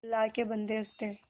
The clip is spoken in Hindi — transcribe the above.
अल्लाह के बन्दे हंस दे